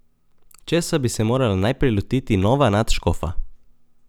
Česa bi se morala najprej lotiti nova nadškofa?